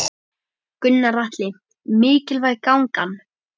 Gunnar Atli: Mikilvæg gangan?